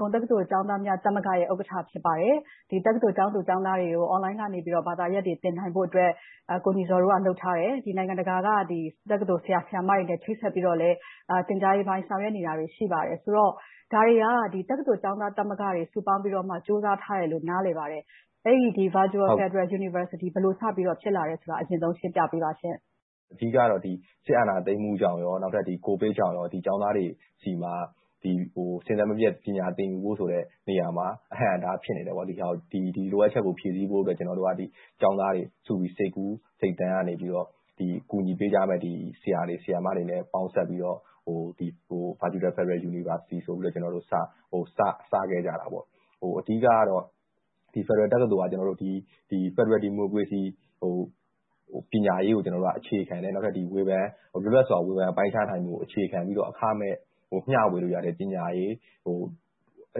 ကုန်တက္ကသိုလ် ကျောင်းသားများသမဂ္ဂရဲ့ ဥက္ကဋ္ဌ ဖြစ်ပါတယ်။ တက္ကသိုလ်ကျောင်းသူကျောင်းသားတွေကို Online ကနေ ဘာသာရပ်တွေ သင်နိုင်ဖို့အတွက် ကိုညီဇော်တို့က လုပ်ထားတယ်။ နိုင်ငံတကာက တက္ကသိုလ်ဆရာ၊ ဆရာမတွေနဲ့ ချိတ်ဆက်ပြီးတော့ သင်ကြားရေးပိုင်းတွေ ဆောင်ရွက်နေတာ ရှိပါတယ်ဆိုတော့ ဒါတွေက တက္ကသိုလ်ကျောင်းသားသမဂ္ဂတွေ စုပေါင်းပြီးတော့ ကြိုးစားထားတယ်လို့ နားလည်ပါတယ်။ အဲဒီလို Virtual Federal University ဘယ်လိုဖြစ်လာတယ်ဆိုတာကို အရင်ဆုံး ရှင်းပြပေးပါရှင့်။ ဟုတ်ကဲ့ မင်္ဂလာပါ အမ။ အဓိကတော့ စစ်အာဏာသိမ်းမှုကြောင့်နဲ့ ကိုဗစ်တို့ကြောင့် ကျောင်းသားတွေ စဉ်ဆက်မပြတ် ပညာသင်ကြားမှုဆိုတဲ့ နေရာမှာ အဟန့်အတား ဖြစ်နေတယ်။ ဒီလိုအပ်ချက်ကို ဖြည့်ဆည်းဖို့အတွက် ကျောင်းသားတွေစုပြီးတော့ စိတ်ကူးစိတ်သန်းကနေ ကူညီပေးကြမယ့် ဆရာ၊ ဆရာမတွေနဲ့ ပေါင်းစပ်ပြီးတော့ Virtual Federal University ဆိုပြီးတော့ စခဲ့ကြတာပါ။ အဓိကတော့ ဖယ်ဒရယ်တက္ကသိုလ်က ဖယ်ဒရယ်ဒီမိုကရေစီ ပညာရေးကို အခြေခံတယ်။ လွတ်လပ်စွာ ဝေဖန်ပိုင်းခြားမှုကို အခြေခံပြီးတော့ အခမဲ့မျှဝေလို့ရတဲ့ ပညာရေး။ အ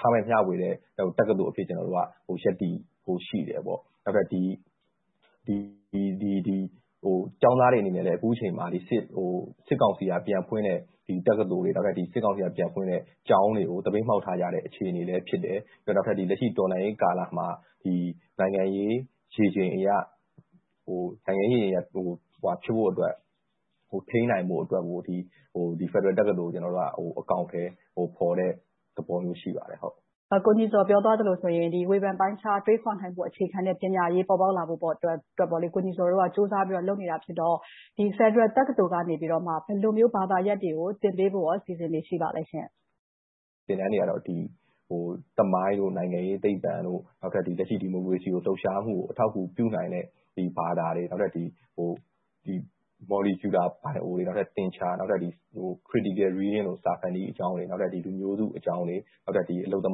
ခမဲ့မျှဝေတဲ့ တက္ကသိုလ်အဖြစ် ရပ်တည်ဖို့ရှိတယ်။ နောက်ထပ် ကျောင်းသားတွေအနေနဲ့လဲ အခုအချိန်မှာ စစ်ကောင်စီက ပြန်ဖွင့်တဲ့ တက္ကသိုလ်တွေ။ စစ်ကောင်စီကျောင်းတွေကို သပိတ်မှောက်ထားတဲ့ အခြေအနေလည်း ဖြစ်တယ်။ နောက်ထပ် တော်လှန်ရေးကာလမှာ နိုင်ငံရေးရေချိန်အရ ထိန်းနိုင်ဖို့အတွက်ကို ဖယ်ဒရယ်တက္ကသိုလ်ကို အကောင်အထည်ဖော်တဲ့ သဘောမျိုး ရှိပါတယ်။ ကိုညီဇော် ပြောသွားသလိုဆိုရင် ဝေဖန်ပိုင်းခြား တွေးခေါ်နိုင်မယ့် ပညာရေး ပေါ်ပေါက်လာဖို့အတွက် ကိုညီဇော်တို့က ကြိုးစားပြီးတော့ လုပ်နေတာ ဖြစ်တယ်ဆိုတော့ ဖယ်ဒရယ်တက္ကသိုလ်ကနေ ဘယ်လိုမျိုး ဘာသာရပ်တွေကို သင်ကြားပေးဖို့ အစီအစဉ်တွေ ရှိပါသလဲ။ သင်တန်းတွေကတော့ သမိုင်း၊ နိုင်ငံရေးသိပ္ပံ၊ လက်ရှိ ဒီမိုကရေစီလှုပ်ရှားမှုကို အထောက်အကူပြုနိုင်မယ့် ဘာသာရပ်တွေ။ နောက်ပြီးတော့ ဘိုင်အို၊ သင်္ချာ၊ Critical reading လို စာဖတ်နည်းတွေ၊ လူမျိုးစုအကြောင်းတွေ၊ အလုပ်သ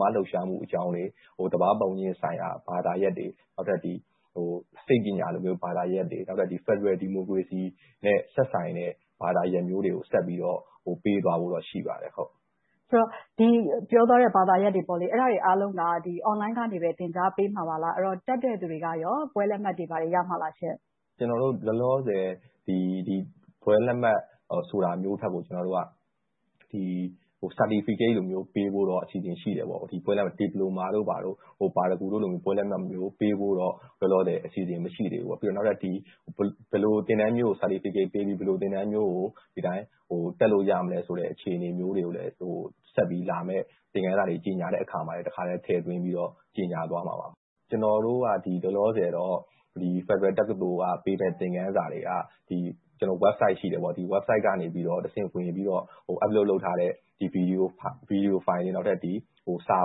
မားလှုပ်ရှားမှုအကြောင်းတွေ၊ သဘာဝပတ်ဝန်းကျင်ဆိုင်ရာ ဘာသာရပ်တွေ။ နောက်ထပ် စိတ်ပညာလို ဘာသာရပ်တွေ၊ ဖယ်ဒရယ်ဒီမိုကရေစီနဲ့ သက်ဆိုင်တဲ့ ဘာသာရပ်တွေကို ဆက်ပြီးတော့ ပေးသွားဖို့ ရှိပါတယ်။ ပြောသွားတဲ့ ဘာသာရပ်တွေအားလုံးက Online ကနေ သင်ကြားပေးမှာပါလား။ တက်တဲ့လူတွေက ဘွဲ့လက်မှတ်တွေ ဘာတွေ ရမှာလားရှင့်။ ကျနော်တို့ လောလောဆယ် ဘွဲ့လက်မှတ်ဆိုတာမျိုးထက် Certificate လိုမျိုး ပေးဖို့တော့ အစီအစဉ်ရှိတယ်။ ဒီပလိုမာ၊ ပါရဂူဘွဲ့လို လက်မှတ်မျိုး ပေးဖို့တော့ လောလောဆယ် အစီအစဉ် မရှိသေးဘူး။ နောက်ထပ် ဘယ်လိုသင်တန်းမျိုးကို Certificate ပေးပြီး၊ ဘယ်လိုသင်တန်းမျိုးကို ဒီအတိုင်း တက်လို့ရမလဲဆိုတဲ့ အခြေအနေမျိုးတွေကိုလဲ ဆက်ပြီးလာမယ့် သင်ခန်းစာတွေ ကြေညာတဲ့အခါမှာလဲ တခါတည်း ထည့်သွင်းပြီးတော့ ကြေညာသွားမှာပါ။ ကျနော်တို့က လောလောဆယ်တော့ ဖယ်ဒရယ်တက္ကသိုလ်က ပေးတဲ့သင်ခန်းစာက Website ရှိတယ်။ Website ကို ဝင်ပြီးတော့ Uploaded ထားတဲ့ ဗီဒီယိုင်ဖိုင်တွေ၊ စာ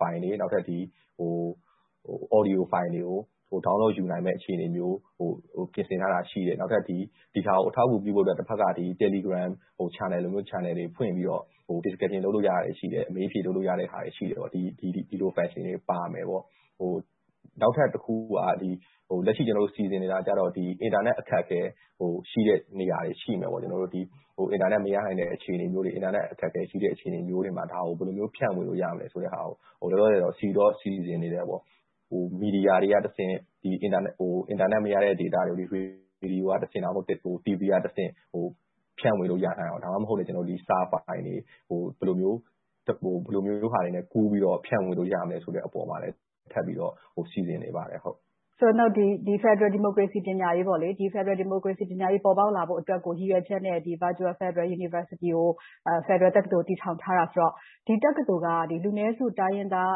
ဖိုင်တွေ၊ Audio ဖိုင်တွေကို Download ယူနိုင်မယ့် အခြေအနေမျိုးကို ပြင်ဆင်ထားတာ ရှိတယ်။ ဒီဟာကို အထောက်အကူပြုဖို့အတွက် တဘက်က Telegram လို Channel တွေ ဖွင့်ပြီးတော့ Discussion လုပ်လို့ရတာတွေ ရှိတယ်။ အမေး-အဖြေတွေ လုပ်လို့ရတာတွေ ရှိတယ်။ ဒီလို Activities တွေပါမယ်။ နောက်ထပ်တခု ကျနော်တို့ စီစဉ်နေတာကတော့ အင်တာနက် အခက်အခဲရှိတဲ့နေရာတွေ ရှိတဲ့နေရာတွေ ရှိမယ်။ အင်တာနက် မရနိုင်တဲ့ အခြေအနေမျိုးတွေ၊ အခက်အခဲရှိမယ့် အခြေအနေမျိုးမှာ ဒါကို ဘယ်လို ဖြန့်ဝေလို့ရမလဲဆိုတာကို လောလောဆယ်တော့ စီစဉ်နေတယ်။ မီဒီယာတွေကတဆင့် အင်တာနက်မရတဲ့ နေရာတွေကို ဗီဒီယို၊ တီဗီကတဆင့် ဖြန့်ဝေလို့ ရနိုင်အောင်၊ ဒါမှမဟုတ် စာဖိုင်တွေကို ဘယ်လိုမျိုး ကူးပြီးတော့ ဖြန့်ဝေလို့ရမလဲဆိုတာကို ထပ်ပြီးတော့ စီစဉ်နေပါတယ်။ ဖယ်ဒရယ်ဒီမိုကရေစီ ပညာရေး ပေါ်ပေါက်လာဖို့အတွက်ကို ရည်ရွယ်ချက်နဲ့ Virtual Federal University ကို တည်ထောင်ထားတာဆိုတော့ ဒီတက္ကသိုလ်က လူနည်းစု တိုင်းရင်းသား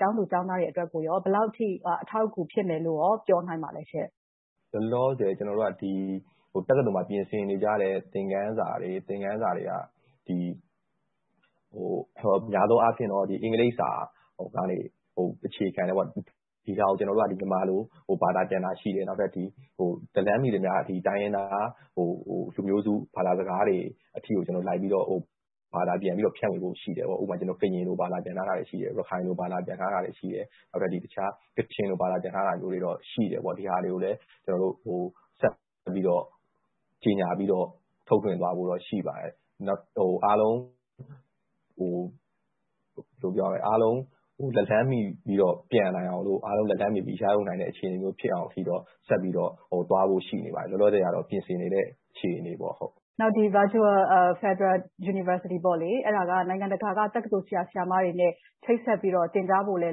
ကျောင်းသူကျောင်းသားတွေအတွက်ကို ဘယ်လောက်အထိ အထောက်အကူ ဖြစ်မယ်လို့ ပြောနိုင်ပါလဲရှင့်။ လောလောဆယ် တက္ကသိုလ်မှာ ပြင်ဆင်နေကြတဲ့ သင်ခန်းစာတွေက များသောအားဖြင့်တော့ အင်္ဂလိပ်ကို အခြေခံတယ်။ ဒီဟာတွေကို ကျနော်တို့က မြန်မာလို ဘာသာပြန်တာ ရှိတယ်။ လက်လှမ်းမီသမျှ တိုင်းရင်းသား လူမျိုးစုဘာသာစကားတွေအထိ လိုက်ပြီးတော့၊ ဘာသာပြန်ပြီးတော့ ဖြန့်ဝေဖို့ရှိတယ်။ အခု ကရင်လို ဘာသာပြန်ထားတာ ရှိတယ်။ ရခိုင်လို ဘာသာပြန်ထားတာတွေ ရှိတယ်။ နောက်ထပ် ကချင်လို ဘာသာပြန်ထားတာတွေတော့ ရှိတယ်။ ဒီဟာတွေကိုလဲ ဆက်ပြီးတော့ ကြေညာပြီးတော့ ထုတ်လွှင့်သွားဖို့တော့ ရှိပါတယ်။ နောက်ထပ် အားလုံးလက်လှမ်းမီပြီးတော့ ရယူနိုင်တဲ့ အခြေအနေမျိုးဖြစ်အောင်အထိ ဆက်ပြီးတော့ သွားဖို့ရှိနေပါတယ်။ လောလောဆယ်တော့ ပြင်ဆင်နေတဲ့ အခြေအနေပေါ့။ Virtual Federal University ကို နိုင်ငံတကာက တက္ကသိုလ်ဆရာ၊ ဆရာမတွေနဲ့ ချိတ်ဆက်ပြီးတော့ သင်ကြားဖို့လဲ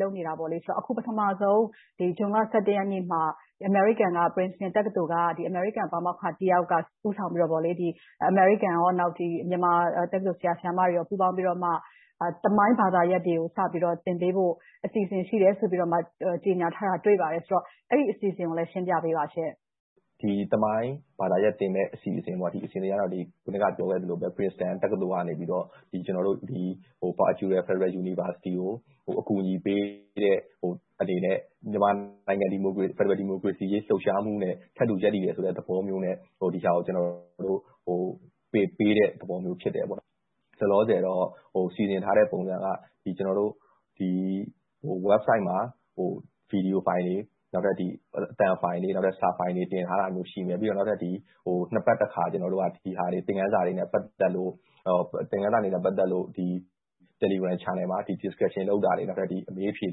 လုပ်နေတာဆိုတော့ အခု ပထမဦးဆုံး ဇွန်လ ရက်နေ့မှာ အမေရိကန် Princeton တက္ကသိုလ်က အမေရိကန်ပါမောက္ခတယောက်က ဦးဆောင်ပြီးတော့ အမေရိကန်နဲ့ မြန်မာတက္ကသိုလ် ဆရာ၊ ဆရာမတွေ ပူးပေါင်းပြီးတော့ သမိုင်းဘာသာရပ်တွေကို စတင်ပြီးတော့ သင်ပေးဖို့ အစီအစဉ်ရှိတယ်လို့ ကြေညာထားတာ တွေ့ပါတယ်။ အဲဒီအစီအစဉ်ကို ရှင်းပြပေးပါရှင့်။ သမိုင်းဘာသာရပ်သင်မယ့် အစီအစဉ်ကတော့ အခုနပြောခဲ့သလိုပဲ Princeton တက္ကသိုလ်ကနေ ကျနော်တို့ Virtual Federal University ကို အကူအညီပေးတဲ့ အနေနဲ့ မြန်မာနိုင်ငံ ဖယ်ဒရယ်ဒီမိုကရေစီ လှုပ်ရှားမှုနဲ့ ထပ်တူရပ်တည်တယ်ဆိုတဲ့ သဘောမျိုးနဲ့ ဒီဟာကို သင်ပေးတဲ့သဘောမျိုး ဖြစ်တယ်။ လောလောဆယ်တော့ စီစဉ်ထားတဲ့ပုံစံက ကျနော်တို့ Website မှာ ဗီဒီယိုဖိုင်တွေ၊ အသံဖိုင်တွေ၊ စာဖိုင်တွေ တင်ထားတာတွေ ရှိမယ်။ နောက်ပြီး နှစ်ပတ်တစ်ခါ သင်ခန်းစာတွေနဲ့ ပတ်သက်လို့ Telegram Channel မှာ Discussion လုပ်တာတွေ၊ အမေးအဖြေ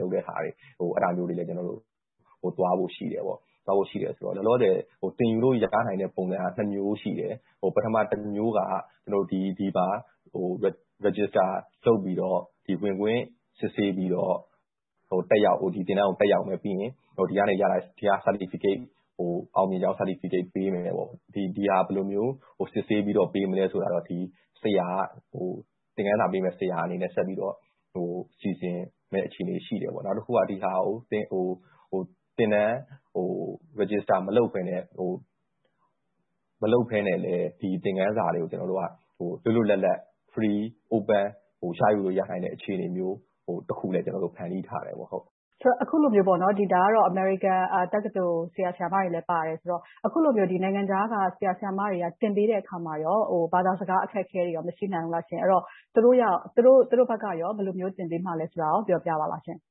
လုပ်တာတွေကို လုပ်သွားဖို့ရှိတယ်။ လောလောဆယ် သင်ယူလို့ ရနိုင်တဲ့ ပုံစံက မျိုး ရှိတယ်။ ပထမတစ်မျိုးက Register လုပ်ပြီးတော့ ဝင်ခွင့်စစ်ဆေးပြီးတော့ ဒီသင်တန်းကို တက်ရောက်မယ်။ ပြီးတော့ ဒီကနေ ရထားတဲ့ Certificate ကို အောင်မြင်ကြောင်းပေးမယ်။ ဒီဟာကို ဘယ်လိုစစ်ဆေးပြီးတော့ ပေးမလဲဆိုတာကို သင်ခန်းစာပေးမယ့် ဆရာက ဆက်ပြီးတော့ စီစဉ်မယ့် အခြေအနေရှိတယ်။ နောက်တစ်ခုက သင်တန်း Register မလုပ်ဘဲနဲ့လဲ ဒီသင်ခန်းစာတွေကို လွတ်လွတ်လပ်လပ်၊ Free, Open ရယူနိုင်တဲ့ အခြေအနေမျိုးတစ်ခုကိုလဲ ဖန်တီးထားပါတယ်။ အခုလိုမျိုး အမေရိကန် ဆရာ၊ ဆရာမတွေလည်းပါတယ်ဆိုတော့ အခုလိုမျိုး နိုင်ငံခြားက ဆရာ၊ ဆရာမတွေက သင်ပေးတဲ့အခါမှာ ဘာသာစကား အခက်အခဲတွေ မရှိနိုင်ဘူးလား။ သူတို့ဘက်က ဘယ်လိုမျိုး သင်ပေးမလဲဆိုတာကို ပြောပြပါလားရှင့်။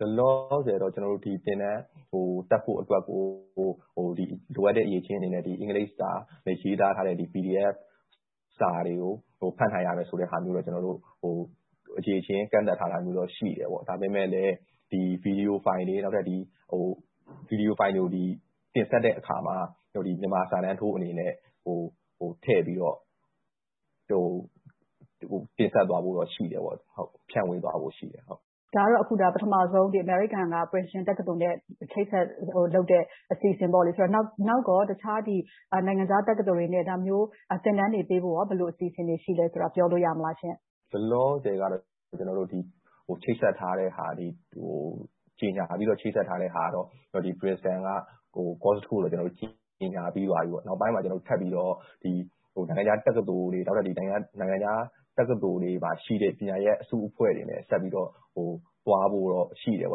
လောလောဆယ်တော့ သင်တန်းကို တက်ဖို့အတွက် လိုအပ်တဲ့ အရည်အချင်းအနေနဲ့ အင်္ဂလိပ်စာနဲ့ ရေးထားတဲ့ စာတွေကို ဖတ်နိုင်ရမယ်ဆိုတဲ့ အရည်အချင်းကန့်သတ်ထားတာမျိုးတော့ ရှိတယ်။ ဒါပေမဲ့လဲ ဗီဒီယိုင်ဖိုင်တွေ၊ ဗီဒီယိုင်ဖိုင်တွေကို တင်ဆက်တဲ့အခါမှာ မြန်မာစာတန်းထိုးအနေနဲ့ ထည့်ပြီးတော့ တင်ဆက်သွားဖို့တော့ ရှိတယ်။ ဖြန့်ဝေသွားဖို့ရှိတယ်။ ဒါကတော့ ပထမဦးဆုံး အမေရိကန်က Princeton တက္ကသိုလ်နဲ့ အချိတ်အဆက်လုပ်တဲ့ အစီအစဉ်။ နောက်ကော အခြားနိုင်ငံခြား တက္ကသိုလ်နဲ့ ဒါမျိုး သင်တန်းတွေပေးဖို့ ဘယ်လိုအစီအစဉ်တွေ ရှိသလားဆိုတာကို ပြောလို့ရသလားရှင့်။ လောလောဆယ်ကတော့ ချိတ်ဆက်ထားတဲ့ဟာကတော့ Princeton က Course တစ်ခုကိုတော့ ကြေညာပြီးပါပြီ။ နောက်ပိုင်းမှာ ထပ်ပြီးတော့ နိုင်ငံခြားတက္ကသိုလ်တွေ၊ နိုင်ငံခြားတက္ကသိုလ်မှာရှိတဲ့ ပညာရပ်အစုအဖွဲ့တွေနဲ့ စုဖွဲ့ပြီး သွားဖို့ရှိတယ်။ အဲ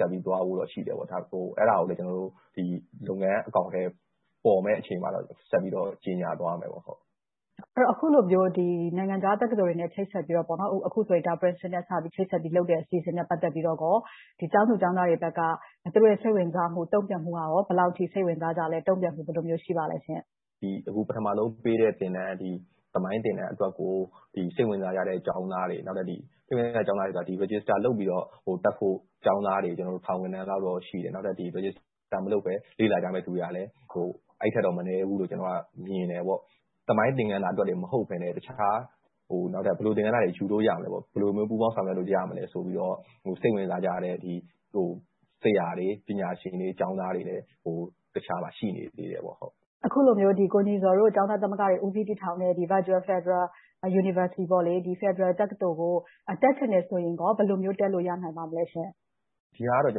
ဒါကိုလဲ လုပ်ငန်းအကောင်အထည်ပေါ်မယ့် အခြေအနေမှတော့ ဆက်ပြီးတော့ ကြေညာသွားမယ်။ အခုလိုမျိုး နိုင်ငံခြားတက္ကသိုလ်တွေနဲ့ ချိတ်ဆက်ပြီးတော့ အခုဆိုရင် Princeton နဲ့ ချိတ်ဆက်ပြီးလုပ်တဲ့ အစီအစဉ်နဲ့ ပတ်သက်ပြီး ကျောင်းသူကျောင်းသားတွေဘက်က သူတို့ရဲ့ စိတ်ဝင်စားမှု၊ တုံ့ပြန်မှုက ဘယ်လောက်အထိ စိတ်ဝင်စားကြသလဲ။ တုံ့ပြန်မှု ဘယ်လိုရှိပါသလဲရှင့်။ အခု ပထမဦးဆုံးပေးတဲ့ သင်တန်း။ သမိုင်းသင်တန်းအတွက်ကို စိတ်ဝင်စားကြတဲ့ ကျောင်းသားတွေ၊ Register လုပ်ပြီးတော့ တက်ဖို့ကျောင်းသားတွေ ထောင်ဂဏန်းလောက် ရှိတယ်။ နောက်ထပ် Register မလုပ်ဘဲ လေ့လာကြမယ့်လူတွေကလဲ အဲဒီထက်မနည်းဘူးလို့ မြင်တယ်။ သမိုင်းသင်ခန်းစာအတွက် မဟုတ်ဘဲနဲ့ အခြားဘယ်လိုသင်ခန်းစာတွေ ယူလို့ရမလဲ။ ဘယ်လိုမျိုး ပူးပေါင်းဆောင်ရွက်လို့ ရမလဲဆိုပြီးတော့ စိတ်ဝင်စားကြတဲ့ ဆရာတွေ၊ ပညာရှင်တွေ၊ ကျောင်းသားတွေလည်း တခြားမှာ ရှိနေသေးတယ်။ အခုလိုမျိုး ကိုညီဇော်တို့ ကျောင်းသားများသမဂ္ဂတွေ ဦးစီးတည်ထောင်တဲ့ Virtual Federal University ဖယ်ဒရယ်တက္ကသိုလ်ကို တက်ချင်တယ်ဆိုရင် ဘယ်လိုမျိုး တက်လို့ရနိုင်မလဲ။ ဒီဟာက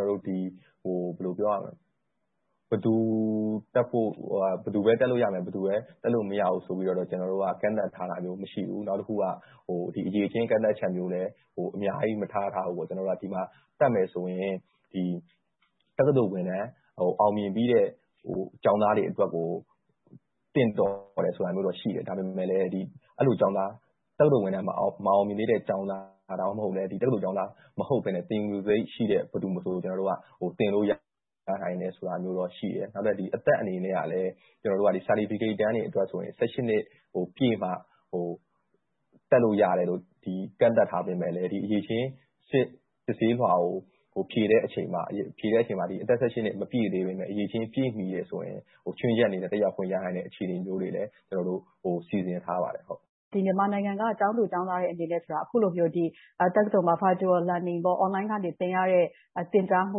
တော့ ဘယ်သူတက်ဖို့၊ ဘယ်သူပဲ တက်လို့ရမယ်၊ ဘယ်သူပဲ တက်လို့မရဘူးဆိုပြီးတော့ ကန့်သတ်ထားတာမျိုး မရှိဘူး။ အခုက အရည်အချင်း အကန့်အသတ်မျိုးကိုလဲ အများကြီးမထားထားဘူး။ ဒီမှာတက်မယ်ဆိုရင် တက္ကသိုလ်ဝန်ထမ်း အောင်မြင်ပြီးတဲ့ ကျောင်းသားတွေအတွက်ကို သင်တော်တယ်ဆိုတာမျိုးတော့ ရှိတယ်။ ဒါပေမဲ့လဲ တက္ကသိုလ်ဝန်ထမ်း မအောင်မြင်သေးတဲ့ ကျောင်းသား။ ဒါမှမဟုတ် တက္ကသိုလ်ကျောင်းသား မဟုတ်ဘဲနဲ့ သင်ယူလိုစိတ်ရှိတဲ့ ဘယ်သူမဆို သင်လို့ရနိုင်တယ်ဆိုတာမျိုးတော့ ရှိတယ်။ နောက်ထပ် အသက်အနေနဲ့ Certificate အတန်းတွေ အတွက်ဆိုရင် နှစ်ပြည့်မှ တက်လို့ရတယ်လို့ ကန့်သတ်ထားပေမယ့်လဲ အရည်အချင်း စစ်ဆေးလွှာကို ဖြေတဲ့အချိန်မှာ အသက် နှစ်မပြည့်သေးဘဲနဲ့ အရည်အချင်း ပြည့်မီတယ်ဆိုရင် ခြွင်းချက်အနေနဲ့ အခြေအနေမျိုးတွေလည်း ကျနော်တို့ စီစဉ်ထားပါတယ်။ မြန်မာနိုင်ငံက ကျောင်းသူကျောင်းသားတွေအနေနဲ့ အခုလို တက္ကသိုလ်မှာ Virtual Learning, Online ကနေ သင်ယူရတဲ့ သင်ကြားမှု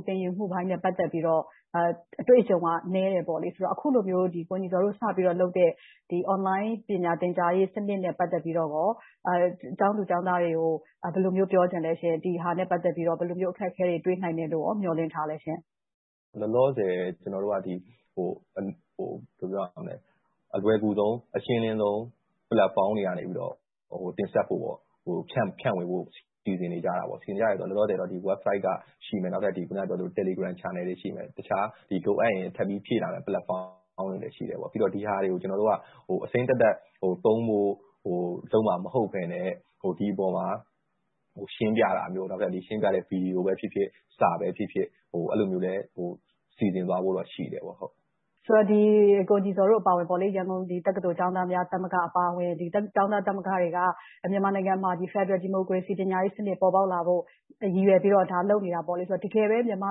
၊ သင်ယူမှုအပိုင်းနဲ့ ပတ်သက်ပြီးတော့ အတွေ့အကြုံက နည်းတယ်ဆိုတော့ အခုလိုမျိုး ကိုညီဇော်တို့ စပြီးတော့ လုပ်တဲ့ Online ပညာသင်ကြားမှုစနစ်နဲ့ ပတ်သက်ပြီးတော့ ကျောင်းသူကျောင်းသားတွေကို ဘယ်လိုမျိုး ပြောချင်လဲ။ ဒီဟာနဲ့ ပတ်သက်ပြီးတော့ ဘယ်လိုမျိုး အခက်အခဲတွေ တွေ့နိုင်တယ်လို့ မျှော်လင့်ထားလဲရှင့်။ လောလောဆယ် အလွယ်ကူဆုံး၊ အရှင်းလင်းဆုံး Platform တွေကနေ တင်ဆက်ဖို့၊ ဖြန့်ဝေဖို့ စီစဉ်နေကြတယ်။ လောလောဆယ် Website က ရှိမယ်။ နောက် Telegram Channel ရှိမယ်။ နောက် လိုအပ်ရင် ထပ်ပြီးဖြည့်လာမယ့် Platform တွေ ရှိမယ်။ ပြီးတော့ ဒီဟာတွေကို အစိမ်းသက်သက်သုံးဖို့ လုပ်မှာမဟုတ်ဘဲနဲ့ ဒီအပေါ်မှာ ရှင်းပြတာမျိုး။ နောက်ထပ်ရှင်းပြတဲ့ ဗီဒီယိုပဲဖြစ်ဖြစ်၊ စာပဲဖြစ်ဖြစ် အဲဒီလိုမျိုးလဲ စီစဉ်သွားဖို့ ရှိပါတယ်။ ဆိုတော့ ကိုညီဇော်တို့အပါအဝင် ရန်ကုန်တက္ကသိုလ် ကျောင်းသားများသမဂ္ဂတွေက မြန်မာနိုင်ငံမှာ ဖယ်ဒရယ်ဒီမိုကရေစီ ပညာရေးစနစ် ပေါ်ပေါက်လာဖို့ ရည်ရွယ်ပြီးတော့ လုပ်နေတာဆိုတော့ တကယ်ပဲ မြန်မာ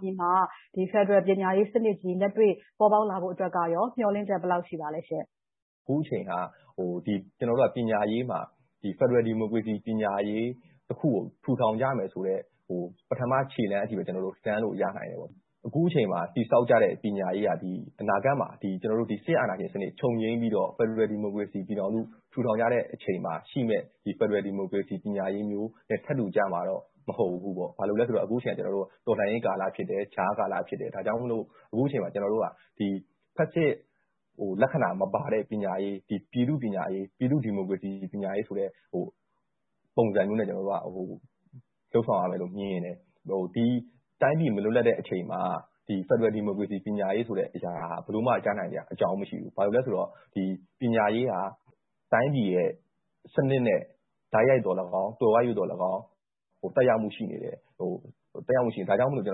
ပြည်မှာ ဖယ်ဒရယ်ပညာရေးစနစ်ကြီး လက်တွေ့ပေါ်ပေါက်လာဖို့က မျှော်လင့်ချက် ဘယ်လောက်ရှိပါသလဲရှင့်။ အခုအချိန်က ပညာရေးမှာ ဖယ်ဒရယ်ဒီမိုကရေစီ ပညာရေးတစ်ခုကို ထူထောင်ကြမယ်ဆိုတဲ့ ပထမခြေလှမ်းကို စမ်းလို့ရနိုင်တယ်။ အခုအချိန်မှာ တည်ဆောက်ကြတဲ့ ပညာရေးက အနာဂတ်မှာ စစ်အာဏာရှင်စနစ် ချုပ်ငြိမ်းပြီးတော့ ဖယ်ဒရယ်ဒီမိုကရေစီပြည်ထောင်စု ထူထောင်ကြတဲ့အချိန်မှာရှိမယ့် ဖယ်ဒရယ်ဒီမိုကရေစီ ပညာရေးမျိုးနဲ့ ထပ်တူကျမှာတော့ မဟုတ်ဘူး။ ဘာဖြစ်လို့လဲဆိုတော့ အခုအချိန်က တော်လှန်ရေးကာလ ဖြစ်တယ်။ ကြားကာလ ဖြစ်တယ်။ ဒါကြောင့်မို့ အခုအချိန်မှာ ကျနော်တို့က ဖက်ဆစ်လက္ခဏာမပါတဲ့ ပညာရေး။ ပြည်သူ့ဒီမိုကရေစီ ပညာရေးဆိုတဲ့ ပုံစံမျိုးနဲ့ ကျနော်တို့က လုပ်ဆောင်ရမယ်လို့ မြင်တယ်။ ဒီတိုင်းပြည် မလွတ်လပ်တဲ့အချိန်မှာ ဖယ်ဒရယ်ဒီမိုကရေစီ ပညာရေးဆိုတဲ့အရာက ဘယ်လိုမှ ရနိုင်စရာအကြောင်း မရှိဘူး။ ဘာဖြစ်လို့လဲဆိုတော့ ပညာရေးက တိုင်းပြည်ရဲ့ စနစ်နဲ့ တိုက်ရိုက်သော်လည်းကောင်း၊ သွယ်ဝိုက်ရွေ့လည်းကောင်း သက်ရောက်မှု ရှိနေတယ်။ ဒါကြောင့်မို့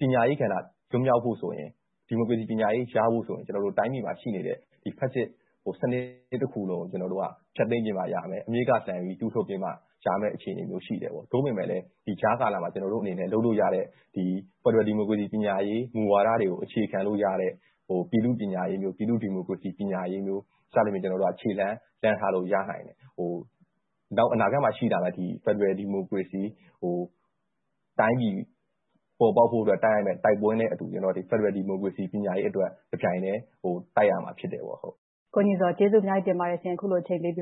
ပညာရေးကဏ္ဍ လွတ်မြောက်ဖို့ဆိုရင် ဒီမိုကရေစီပညာရေး ရဖို့ဆိုရင် တိုင်းပြည်မှာရှိနေတဲ့ စနစ်ကြီးတစ်ခုလုံးကို ဖျက်သိမ်းပစ်မှရမယ်။ အမြစ်ကနေလှန်ပြီး တူးထုတ်ပစ်မှ ရမယ့်အခြေအနေမျိုး ရှိတယ်။ သို့ပေမဲ့လဲ ဒီကြာကာလမှာ ကျနော်တို့အနေနဲ့ လုပ်လို့ရတဲ့ ဖယ်ဒရယ်ဒီမိုကရေစီ ပညာရေးမူဝါဒတွေကို အခြေခံလို့ရတဲ့ ပြည်သူ့ပညာရေးမျိုး ၊ ပြည်သူ့ဒီမိုကရေစီပညာရေးမျိုး စသဖြင့် ကျနော်တို့က ခြေလှမ်းလှမ်းထားလို့ ရနိုင်တယ်။ နောက်အနာဂတ်မှာ ရှိလာမယ့် ဖယ်ဒရယ်ဒီမိုကရေစီတိုင်းပြည် ပေါ်ပေါက်ဖို့အတွက် တိုက်ရမယ့် တိုက်ပွဲနဲ့အတူ ဖယ်ဒရယ်ဒီမိုကရေစီ ပညာရေးအတွက် တပြိုင်တည်း တိုက်ရမှာဖြစ်တယ်။ ကိုညီဇော် ကျေးဇူးအများကြီးတင်ပါတယ်ရှင့်။ အခုလိုမျိုး အချိန်ပေးပြီး